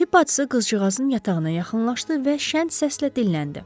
Tibb bacısı qızcığazın yatağına yaxınlaşdı və şən səslə dilləndi.